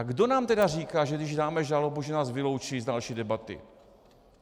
A kdo nám tedy říká, že když dáme žalobu, že nás vyloučí z další debaty?